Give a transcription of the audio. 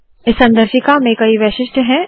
इस संदर्शिका में कई वैशिष्ट्य है